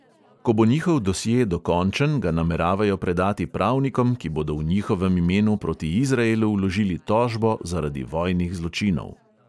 Ko bo njihov dosje dokončen, ga nameravajo predati pravnikom, ki bodo v njihovem imenu proti izraelu vložili tožbo zaradi vojnih zločinov.